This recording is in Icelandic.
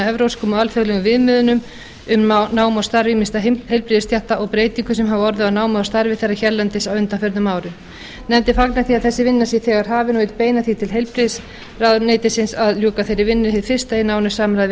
evrópskum og alþjóðlegum viðmiðunum um nám og starf ýmissa heilbrigðisstétta og breytingum sem hafa orðið á námi þeirra hérlendis á undanförnum árum nefndin fagnar því að þessi vinna sé þegar hafin og vill beina því til heilbrigðisráðuneytisins að ljúka þeirri vinnu hið fyrsta í nánu samráði